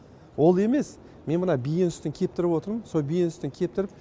ол емес мен мына биенің сүтін кептіріп отырмын сол биенің сүтін кептіріп